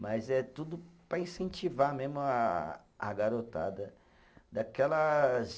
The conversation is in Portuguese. Mas é tudo para incentivar mesmo a a garotada, daquelas